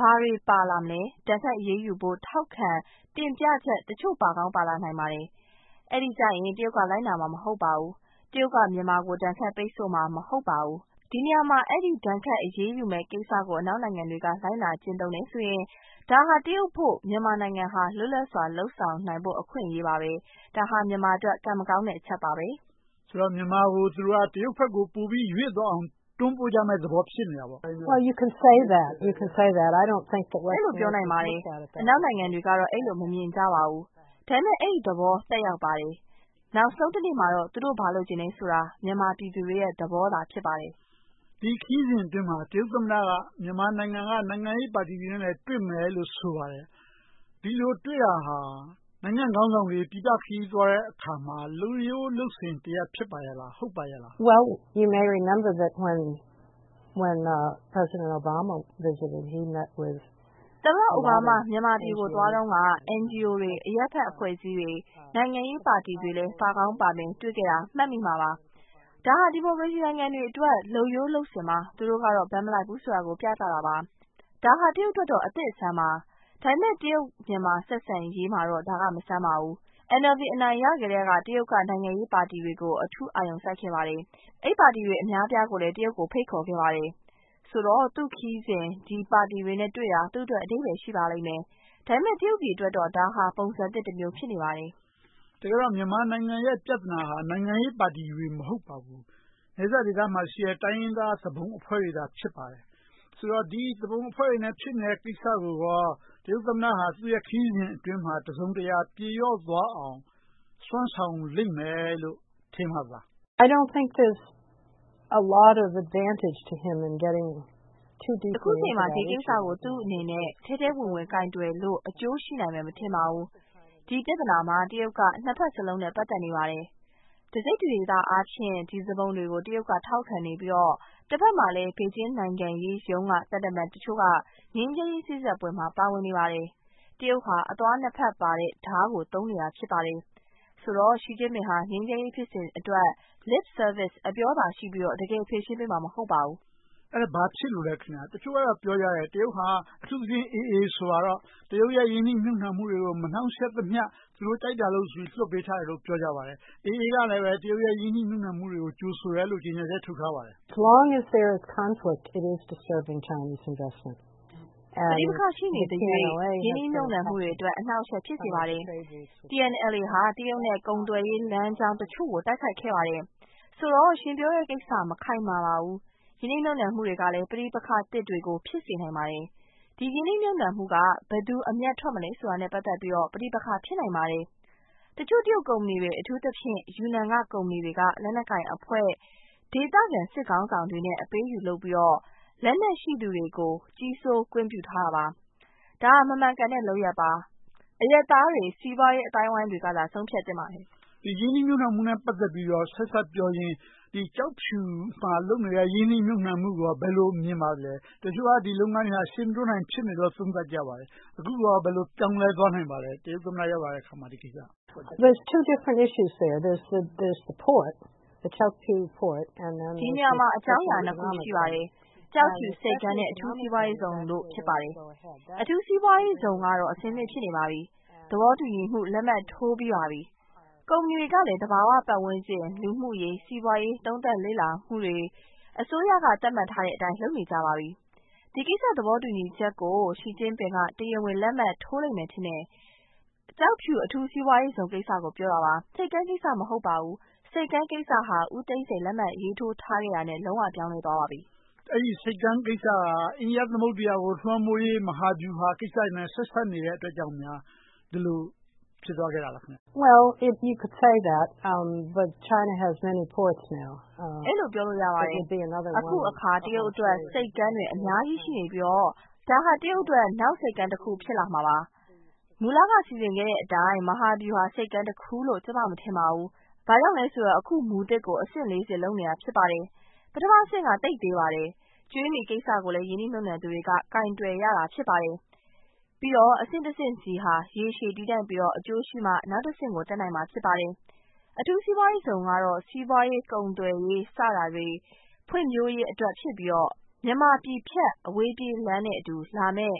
ဘာတွေပါလာမလဲ။ ဒဏ်ခတ်အရေးယူဖို့ ထောက်ခံတင်ပြချက် တချို့ပါကောင်းပါလာပါလိမ့်မယ်။ အဲဒီကြရင် တရုတ်က လိုက်နာမှာ မဟုတ်ပါဘူး။ တရုတ်က မြန်မာကို ဒဏ်ခတ်ပိတ်ဆို့မှာ မဟုတ်ပါဘူး။ ဒီနေရာမှာ ဒဏ်ခတ်အရေးယူမယ့်ကိစ္စကို အနောက်နိုင်ငံတွေက လိုက်နာကျင့်သုံးတယ်ဆိုရင် ဒါဟာ တရုတ်အဖို့ မြန်မာနိုင်ငံဟာ လွတ်လပ်စွာ လုပ်ဆောင်နိုင်ဖို့ အခွင့်အရေးပါပဲ။ ဒါဟာ မြန်မာအတွက် ကံမကောင်းတဲ့အချက်ပါပဲ။ မေး ။ ။ ဆိုတော့ မြန်မာကို တရုတ်ဘက်ကို ပိုပြီးရွေ့သွားအောင် တွန်းပို့ကြမယ့်သဘော ဖြစ်နေတာပေါ့။ ဖြေ ။ ။ အဲဒီလိုပြောနိုင်ပါတယ်။ အနောက်နိုင်ငံတွေကတော့ အဲဒီလို မမြင်ကြပါဘူး ဒါပေမဲ့ အဲဒီသဘောသက်ရောက်ပါတယ်။ နောက်ဆုံးတနေ့မှာတော့ သူတို့ဘာလိုချင်သလဲဆိုတာ မြန်မာပြည်သူတွေရဲ့ သဘောသာ ဖြစ်ပါတယ်။ မေး ။ ။ ဒီခရီးစဉ်အတွင်းမှာ တရုတ်သမ္မတက မြန်မာနိုင်ငံက နိုင်ငံရေးပါတီတွေနဲ့လည်း တွေ့မယ်လို့ ဆိုပါတယ်။ ဒီလိုတွေ့တာဟာ နိုင်ငံခေါင်းဆောင်တွေ ပြည်ပခရီးသွားတဲ့အခါမှာ လုပ်ရိုးလုပ်စဉ်တရပ် ဖြစ်ပါ့ရဲလား၊ ဟုတ်ပါရဲ့လား။ ဖြေ ။ ။ သမ္မတအိုဘားမား မြန်မာပြည်ကိုသွားတုန်းက NGO တွေ၊ အရပ်ဖက်အဖွဲ့အစည်းတွေ၊ နိုင်ငံရေးပါတီတွေလည်းပါကောင်းပါမယ် တွေ့ခဲ့တာကို မှတ်မိမှာပါ။ ဒါဟာ ဒီမိုကရေစီနိုင်ငံတွေအတွက် လုပ်ရိုးလုပ်စဉ်ပါ။ သူတို့ကတော့ ဘက်မလိုက်ဘူးဆိုတာကို ပြသတာပါ။ ဒါဟာ တရုတ်အတွက်တော့ အသစ်အဆန်းပါ။ ဒါပေမဲ့ တရုတ်-မြန်မာ ဆက်ဆံရေးမှာတော့ ဒါက မဆန်းပါဘူး။ NLD အနိုင်ရကတည်းက တရုတ်က နိုင်ငံရေးပါတီတွေကို အထူးအာရုံစိုက်ခဲ့ပါတယ်။ အဲဒီပါတီတွေ အများအပြားကိုလည်း တရုတ်ကို ဖိတ်ခေါ်ခဲ့ပါတယ်။ ဆိုတော့ သူ့ခရီးစဉ်မှာ ဒီပါတီတွေနဲ့တွေ့တာ သူ့အတွက် အဓိပ္ပါယ်ရှိပါလိမ့်မယ်။ ဒါပေမဲ့ တရုတ်ပြည်အတွက်တော့ ဒါဟာပုံစံသစ်တမျိုး ဖြစ်နေပါတယ်။ မေး ။ ။ တကယ်တော့ မြန်မာနိုင်ငံရဲ့ ပြဿနာဟာ နိုင်ငံရေးပါတီတွေ မဟုတ်ပါဘူး။ နယ်စပ်ဒေသမှာရှိတဲ့ တိုင်းရင်းသားသူပုန်အဖွဲ့တွေသာ ဖြစ်ပါတယ်။ ဆိုတော့ သူပုန်အဖွဲ့တွေနဲ့ ဖြစ်နေတဲ့ကိစ္စကို တရုတ်သမ္မတက သူ့ခရီးစဉ်အတွင်းမှာ တစုံတရာ ပြေပျောက်သွားအောင် စွမ်းဆောင်လိမ့်မယ်လို့ ထင်ပါသလား။ ဖြေ ။ ။ အခုအချိန်မှာ ဒီကိစ္စကို ထဲထဲဝင်ဝင် ကိုင်တွယ်လို့ အကျိုးရှိနိုင်မယ် မထင်ပါဘူး။ ဒီပြဿနာမှာ တရုတ်က နှစ်ဘက်စလုံးနဲ့ ပတ်သက်နေပါတယ်။ တစိတ်တဒေသအားဖြင့် ဒီသူပုန်တွေကို ထောက်ခံနေပြီးတော့ တဘက်မှာလဲ ဘေဂျင်းနိုင်ငံရေးရုံးက သံတမန်တချို့က ငြိမ်းချမ်းရေးစေ့စပ်ပွဲတွေမှာ ပါဝင်နေပါတယ်။ တရုတ်ဟာ အသွားနှစ်ဘက်ပါတဲ့ဒါးကို သုံးနေတာ ဖြစ်ပါတယ်။ ဆိုတော့ Xi Jingpin ဟာ ငြိမ်းချမ်းရေးဖြစ်စဉ်အတွက် Lip service အပြောသာရှိပြီးတော့ တကယ်ဖြေရှင်းပေးမှာ မဟုတ်ပါဘူး။ မေး ။ ။ အဲဒါဘာဖြစ်လို့လဲ။ တချို့ကပြောကြတယ်။ တရုတ်ဟာ အထူးသဖြင့် AA ဆိုပါတော့ တရုတ်ရဲ့ ရင်းနှီးမြုပ်နံှမှုတွေကို မနှောင့်ယှက်သမျှ သူတို့ကြိုက်တာလုပ်လို့ လွှတ်ပေးထားတယ်လို့ ပြောပါတယ်။ AA ကလည်း တရုတ်ရဲ့ ရင်းနှီးမြုပ်နံှမှုတွေကို ကြိုဆိုတယ်လို့ ကြေညာချက် ထုတ်ထားပါတယ်။ ဖြေ ။ ။ ပဋိပက္ခ ရှိနေသရွေ့ ရင်းနှီးမြုပ်နံှမှုတွေအတွက် အနှောင့်အယှက် ဖြစ်စေပါတယ်။ TNLA ဟာ တရုတ်နဲ့ ကုန်သွယ်ရေးလမ်းကြောင်းတချို့ကို တိုက်ခိုက်ခဲ့ပါတယ်။ ဆိုတော့ ရှင်ပြောတဲ့ကိစ္စ မခိုင်မာပါဘူး။ ရင်းနှီးမြုပ်နံှမှုတွေကလည်း ပဋိပက္ခသစ်တွေကို ဖြစ်စေနိုင်ပါတယ်။ ဒီရင်းနှီးမြုပ်နံှမှုက ဘယ်သူတွေ အမြတ်ထွက်မလဲဆိုတာနဲ့ ပတ်သက်ပြီးတော့ ပဋိပက္ခ ဖြစ်နိုင်ပါတယ်။ တချို့တရုတ်ကုမ္ပဏီတွေ အထူးသဖြင့် ယူနန်က ကုမ္ပဏီတွေက လက်နက်ကိုင်အဖွဲ့၊ ဒေသခံစစ်ခေါင်းဆောင်တွေနဲ့ အပေးအယူလုပ်ပြီးတော့ လက်နက်ရှိသူတွေကို ကြီးစိုးကွင်းပြုထားတာပါ။ ဒါဟာ မမှန်ကန်တဲ့ လုပ်ရပ်ပါ။ အရပ်သားတွေ၊ စီးပွားရေးအသိုင်းအဝိုင်းတွေကသာ ဆုံးဖြတ်သင့်ပါတယ်။ မေး ။ ။ ရင်းနှီးမြုပ်နံှမှုနဲ့ ဆက်စပ်ပြောရင် ကျောက်ဖြူမှာလုပ်နေတဲ့ ရင်းနှီးမြုပ်နံှမှုကို ဘယ်လိုမြင်ပါသလဲ။ တချို့က ဒီလုပ်ငန်းတွေက ရှေ့မတိုးနိုင် ဖြစ်နေတယ်လို့ သုံးသပ်ကြပါတယ်။ အခုကော ဘယ်လိုပြောင်းလဲသွားနိုင်ပါသလဲ။ တရုတ်သမ္မတ ရောက်လာတဲ့အခါ ဒီကိစ္စ။ ဖြေ ။ ။ ဒီနေရာမှာ အကြောင်းအရာနှစ်ခု ရှိပါတယ်။ ကျောက်ဖြူဆိပ်ကမ်းနဲ့ အထူးစီးပွားရေးဇုန်တို့ ဖြစ်ပါတယ်။ အထူးစီးပွားရေးဇုန်ကတော့ အဆင်သင့် ဖြစ်နေပါပြီ။ သဘောတူညီမှုလက်မှတ် ထိုးပြီးပါပြီ။ ကုမ္ပဏီတွေကလည်း သဘာဝပတ်ဝန်းကျင်၊ လူမှုရေး၊ စီးပွားရေး သုံးသပ်လေ့လာမှုတွေ၊ အစိုးရက သတ်မှတ်ထားတဲ့အတိုင်း လုပ်နေကြပါပြီ။ ဒီကိစ္စ သဘောတူညီချက်ကို Xi Jingpin က တရားဝင်လက်မှတ်ထိုးလိမ့်မယ် ထင်တယ်။ ကျောက်ဖြူအထူးစီးပွားရေးဇုန်ကိစ္စကို ပြောတာပါ။ ဆိပ်ကမ်းကိစ္စ မဟုတ်ပါဘူး။ ဆိပ်ကမ်းကိစ္စက ဦးသိန်းစိန်လက်မှတ်ထိုးခဲ့တာနဲ့ လုံးဝပြောင်းလဲသွားခဲ့ပါပြီ။ မေး ။ ။ အဲဒီဆိပ်ကမ်းကိစ္စက အိန္ဒိယသမုဒ္ဒရာကို လွှမ်းမိုးရေး မဟာဗျူဟာကိစ္စတွေနဲ့ ဆက်စပ်နေတာကြောင့် ဒီလိုဖြစ်သွားခဲ့တာလား။ ဖြေ ။ ။ အဲဒီလိုပြောလို့ ရပါတယ်။ အခုအခါ တရုတ်အတွက် ဆိပ်ကမ်းတွေ အများကြီးရှိနေပြီတော့ ဒါဟာ တရုတ်အတွက် နောက်ဆိပ်ကမ်းတခု ဖြစ်လာမှာပါ။ မူလက စီစဉ်ခဲ့တဲ့အတိုင်း မဟာဗျူဟာဆိပ်ကမ်းတခုလို့ ကျမ မထင်ပါဘူး။ ဘာကြောင့်လဲဆိုတော့ အခုမူသစ်ကို အဆင့် ဆင့်နဲ့ လုပ်နေတာ ဖြစ်ပါတယ်။ ပထမအဆင့်က သိပ်သေးပါတယ်။ ကြွေးမြီးကိစ္စကိုလည်း ရင်းနှီးမြုပ်နံှသူတွေက ကိုင်တွယ်ရတာ ဖြစ်ပါတယ်။ ပြီးတော့ အဆင့်တဆင့်ဆီဟာ ရေရှည်တည်တန့်ပြီးမှ အကျိုးရှိမှ နောက်တဆင့်ကို တက်နိုင်မှာ ဖြစ်ပါတယ်။ အထူးစီးပွားရေးဇုန်ကတော့ စီးပွားရေး၊ ကုန်သွယ်ရေး စတာတွေ ဖွံ့ဖြိုးရေးအတွက် ဖြစ်ပြီးတော့ မြန်မာပြည်ဖြတ် အဝေးပြေးလမ်းနဲ့အတူလာမယ့်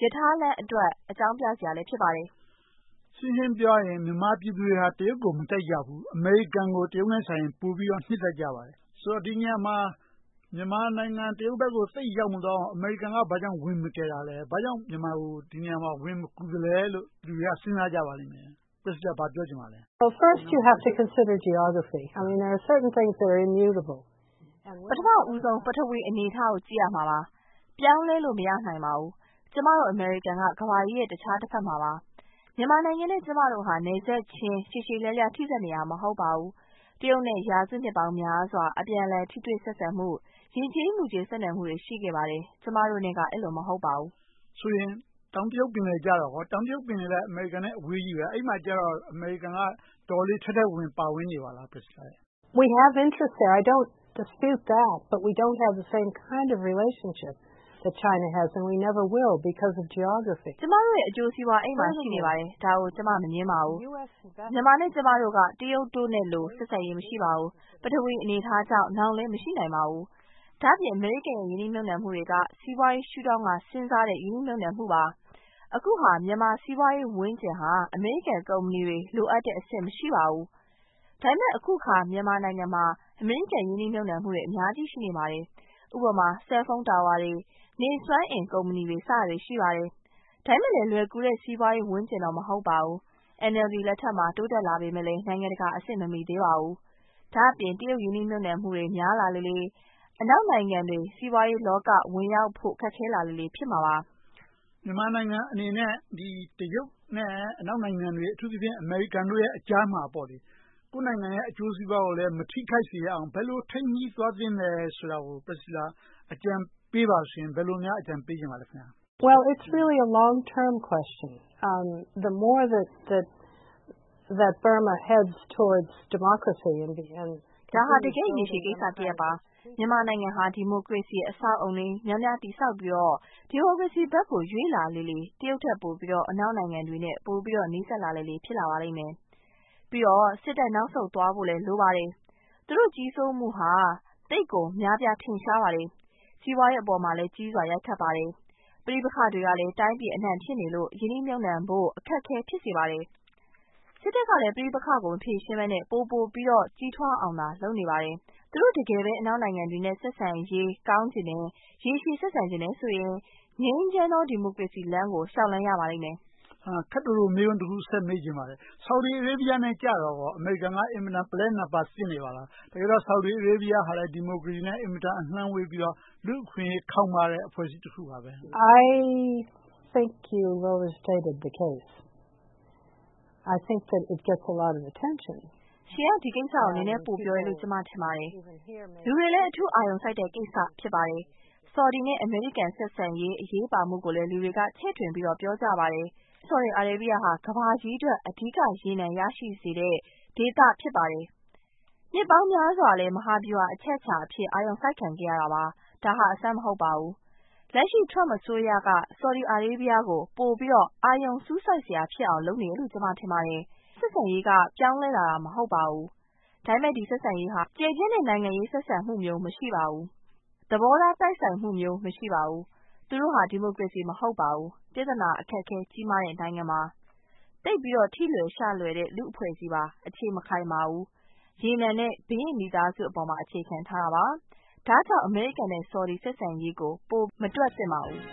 ရထားလမ်းအတွက် အကြောင်းပြစရာလည်း ဖြစ်ပါတယ်။ မေး ။ ။ ရှင်းရှင်းပြောရရင် မြန်မာပြည်သူတွေဟာ တရုတ်ကို မကြိုက်ကြဘူး။ အမေရိကန်ကို တရုတ်ထက်စာရင် ပိုနှစ်သက်ကြပါတယ်။ ဆိုတော့ ဒီနေရာမှာ မြန်မာနိုင်ငံ တရုတ်ဘက်ကို သိပ်ရောက်မသွားအောင် အမေရိကန်က ဘာကြောင့် ဝင်မကယ်တာလဲ။ ဘာကြောင့် ဒီနေရာမှာ မြန်မာကို ဝင်မကူသလဲလို့ လူတွေက စဉ်းစားကြပါလိမ့်မယ်။ ဘာပြောချင်ပါလဲ။ ဖြေ ။ ။ ပထမဦးဆုံး ပထဝီအနေအထားကို ကြည့်ရမှာပါ။ ပြောင်းလဲလို့ မရနိုင်ပါဘူး။ ကျမတို့ အမေရိကန်က ကမ္ဘာကြီးရဲ့ တခြားတဘက်မှာ ရှိနေတာပါ။ မြန်မာနိုင်ငံနဲ့ ကျမတို့ဟာ နယ်စပ်ချင်းရှည်ရှည်လျားလျား ထိဆက်နေတာ မဟုတ်ပါဘူး။ တရုတ်နဲ့ ရာစုနှစ်များစွာ အပြန်အလှန် ဆက်ဆံမှု၊ ယဉ်ကျေးမှုချင်း ဆက်နွှယ်မှုတွေ ရှိခဲ့ပါတယ်။ ကျမတို့နဲ့က အဲဒီလို မဟုတ်ပါဘူး။ မေး ။ ။ ဆိုရင် တောင်တရုတ်ပင်လယ်ကြတော့ကော။ တောင်တရုတ်ပင်လယ်နဲ့ အမေရိကန်နဲ့ အဝေးကြီးပဲ။ အဲဒီမှာကြတော့ အမေရိကန်က တော်တော်လေး ထဲထဲဝင်ဝင် ပါဝင်နေပါလား။ ဖြေ ။ ။ ကျမတို့ အကျိုးစီးပွား အဲဒီမှာ ရှိနေပါတယ်။ ဒါကို ကျမ မငြင်းပါဘူး။ မြန်မာနဲ့ ကျမတို့က တရုတ်နဲ့လို ဆက်ဆံရေးမရှိပါဘူး။ ပထဝီအနေအထားကြောင့် နောင်လဲ မရှိနိုင်ပါဘူး။ ဒါ့အပြင် အမေရိကန်ရဲ့ ရင်းနှီးမြုပ်နံှမှုတွေက စီးပွားရေးရှုထောင့်ကနေ စဉ်းစားတဲ့ ရင်းနှီးမြုပ်နံှမှုပါ။ အခုဟာ မြန်မာစီးပွားရေးဝန်းကျင်ဟာ အမေရိကန်ကုမ္ပဏီတွေ လိုအပ်တဲ့အဆင့်မှာ မရှိပါဘူး။ ဒါပေမဲ့ အခုအခါ မြန်မာနိုင်ငံမှာ အမေရိကန်ရင်းနှီးမြုပ်နံှမှုတွေ အများကြီး ရှိလာနေပါတယ်။ ဥပမာ Cellphone towers တွေ၊ နေစွမ်းအင်ကုမ္ပဏီတွေ စတာတွေရှိပါတယ်။ ဒါပေမဲ့လဲ လွယ်ကူတဲ့စီးပွားရေးဝန်းကျင်တော့ မဟုတ်ပါဘူး။ NLD လက်ထက်မှာ တိုးတက်လာပေမယ့်လဲ နိုင်ငံတကာအဆင့် မမှီသေးပါဘူး။ ဒါ့အပြင် တရုတ်ရင်းနှီးမြုပ်နံှမှုတွေ များလာလေလေ၊ အနောက်နိုင်ငံတွေ စီးပွားရေးလောက ဝင်ရောက်ဖို့ ခက်ခဲလာလေလေ ဖြစ်မှာပါ။ မေး ။ ။ မြန်မာနိုင်ငံအနေနဲ့ တရုတ်နဲ့ အနောက်နိုင်ငံတွေ အထူးသဖြင့် အမေရိကန်တို့အကြားမှာ ကိုယ့်နိုင်ငံရဲ့ အကျိုးစီးပွားကိုလည်း မထိခိုက်စေရအောင် ဘယ်လိုထိန်းညှိသွားသင့်သလဲဆိုတာကို အကြံပေးပါဆိုရင် ဘယ်လိုများ အကြံပေးချင်ပါလဲ။ ဖြေ ။ ။ ဒါဟာ တကယ့်ရေရှည်ကိစ္စတရပ်ပါ။ မြန်မာနိုင်ငံဟာ ဒီမိုကရေစီအဆောက်အအုံတွေ များများတည်ဆောက်ပြီးတော့ ဒီမိုကရေစီဘက်ကို ရွေ့လျားလေလေ တရုတ်ထက်ပိုပြီးတော့ အနောက်နိုင်ငံတွေနဲ့ ပိုပြီးတော့ နီးစပ်လာလေလေ ဖြစ်လာပါလိမ့်မယ်။ ပြီးတော့ စစ်တပ်နောက်ဆုံးသွားဖို့လည်း လိုပါတယ်။ သူတို့ကြီးစိုးမိုးဟာ သိပ်ကိုများပြားထင်ရှားပါတယ်။ စီးပွားရေးအပေါ်မှာလည်း ကြီးစွာရိုက်ခတ်ပါတယ်။ ပဋိပက္ခတွေကလည်း တိုင်းပြည်အနံှ ဖြစ်နေလို့ ရင်းနှီးမြုပ်နံှဖို့ အခက်အခဲ ဖြစ်စေပါတယ်။ စစ်တပ်ကလည်း ပဋိပက္ခကို မဖြေရှင်းဘဲနဲ့ ပိုပိုပြီးတော့ ကြီးထွားအောင်သာ လုပ်နေပါတယ်။ သူတို့ တကယ်ပဲ အနောက်နိုင်ငံတွေနဲ့ ဆက်ဆံရေးကောင်းချင်တယ်။ ရေရှည်ဆက်ဆံချင်တယ်ဆိုရင် ငြိမ်းချမ်းသောဒီမိုကရေစီလမ်းကို လျှောက်လှမ်းရပါလိမ့်မယ်။ မေး ။ ။ ခပ်တိုတို မေးခွန်းတခု မေးချင်ပါတယ်။ ဆော်ဒီအာရေဗီယားနဲ့ အမေရိကန်က အင်မတန် ပုလဲနားပါးသင့်နေပါလား။ တကယ်တော့ ဆော်ဒီအာရေဗီယားကလည်း ဒီမိုကရေစီနဲ့ အင်မတန်အလှမ်းဝေးပြီးတော့ လူ့အခွင့်အရေးခေါင်းပါးတဲ့ လူ့အဖွဲ့အစည်းတခုပါ။ ဖြေ ။ ။ ရှင်က ဒီကိစ္စကို နည်းနည်းပိုပြောတယ်လို့ ကျမ ထင်ပါတယ်။ လူတွေလည်း အထူးအာရုံစိုက်တဲ့ကိစ္စ ဖြစ်ပါတယ်။ ဆော်ဒီနဲ့ အမေရိကန် ဆက်ဆံရေး အရေးပါမှုကို လူတွေက ချဲ့ထွင်ပြီးတော့ ပြောကြပါတယ်။ ဆော်ဒီအာရေဗီယားဟာ ကမ္ဘာကြီးအတွက် အဓိက ရေနံ ရရှိစေတဲ့ဒေသ ဖြစ်ပါတယ်။ နှစ်ပေါင်းများစွာလည်း မဟာဗျူဟာအချက်အခြာအဖြစ် အာရုံစိုက်ခံခဲ့ရတာပါ။ ဒါဟာ အဆန်းမဟုတ်ပါဘူး။ လက်ရှိ Trump အစိုးရက ဆော်ဒီအာရေဗီယားကို အာရုံပိုစူးစိုက်စရာ ဖြစ်နေအောင် လုပ်နေတယ်လို့ ကျမထင်ပါတယ်။ ဆက်ဆံရေးက ပြောင်းလဲလာတာ မဟုတ်ပါဘူး။ ဒါပေမဲ့ ဒီဆက်ဆံရေးဟာ ကျယ်ပြန့်တဲ့နိုင်ငံရေး ဆက်ဆံမှုမျိုး မရှိပါဘူး။ သဘောထားတိုက်ဆိုင်မှုမျိုး မရှိပါဘူး။ သူတို့ဟာ ဒီမိုကရေစီ မဟုတ်ပါဘူး။ ပြဿနာအခက်အခဲ ကြီးမားတဲ့ နိုင်ငံပါ။ သိပ်ပြီးတော့ ထိလွယ်ရှလွယ်တဲ့ လူ့အဖွဲ့အစည်းပါ။ အခြေမခိုင်ပါဘူး။ ရေနံနဲ့ ဘုရင့်မိသားစုအပေါ်မှာ အခြေခံထားတာပါ။ ဒါကြောင့် အမေရိကန်နဲ့ ဆော်ဒီ ဆက်ဆံရေးကို ပိုမတွက်သင့်ပါဘူး။